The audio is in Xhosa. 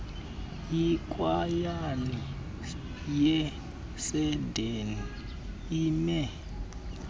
ikwayala yaseedeni ime